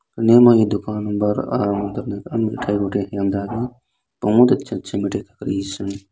नीम आई दुकान बरआ बहुत अच्छा अच्छा मीठाई